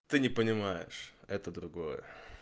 ты не понимаешь это другое